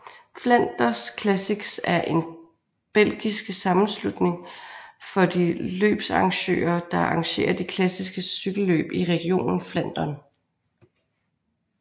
Flanders Classics er en belgiske sammenslutning for de løbsarrangører der arrangere de klassiske cykelløb i regionen Flandern